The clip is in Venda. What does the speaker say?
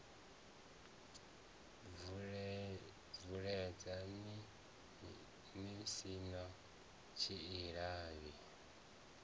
bvuledze ni si na tshilavhi